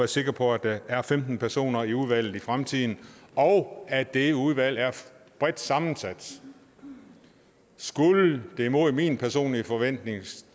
sikre på at der er femten personer i udvalget i fremtiden og at det udvalg er bredt sammensat skulle det mod min personlige forventning